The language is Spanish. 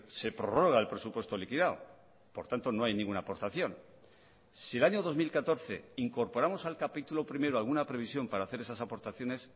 se prorroga el presupuesto liquidado por tanto no hay ninguna aportación si el año dos mil catorce incorporamos al capítulo primero alguna previsión para hacer esas aportaciones